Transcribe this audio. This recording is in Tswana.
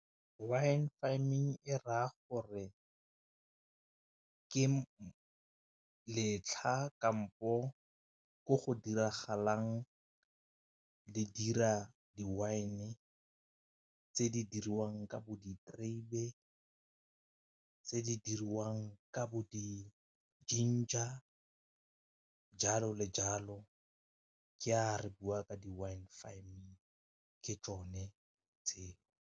Wine farming e raya gore ke letlha kampo ko go diragalang le dira di-wine tse di diriwang ka bo diterebe, tse di dirwang ka bo di-ginger jalo le jalo ke a re bua ka di-wine farming ke tsone tseo.